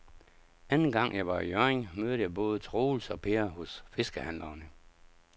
Anden gang jeg var i Hjørring, mødte jeg både Troels og Per hos fiskehandlerne.